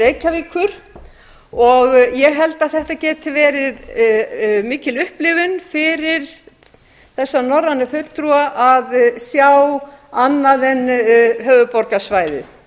reykjavíkur ég held að þetta geti verið mikil upplifun fyrir þessa norrænu fulltrúa að sjá annað en höfuðborgarsvæðið